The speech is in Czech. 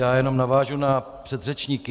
Já jen navážu na předřečníky.